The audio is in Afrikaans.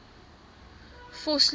vosloorus